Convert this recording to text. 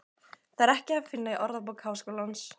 Það er ekki að finna í Orðabók Háskólans.